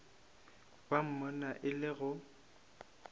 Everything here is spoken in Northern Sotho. ba bona e le go